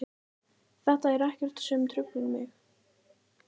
Þetta er ekkert sem truflar mig.